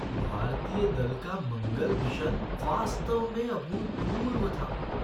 भारतीय दल का मंगल मिशन वास्तव में अभूतपूर्व था!